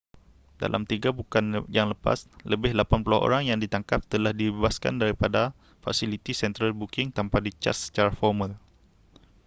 dalam 3 bukan yang lepas lebih 80 orang yang ditangkap telah dibebaskan daripada fasiliti central booking tanpa dicaj secara formal